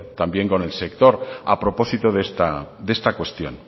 también con el sector a propósito de esta cuestión